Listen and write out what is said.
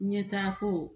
Ɲɛtaako